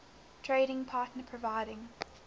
trading partner providing